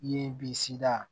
Ye bisi da